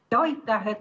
Aitäh!